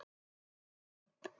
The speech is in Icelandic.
Skipum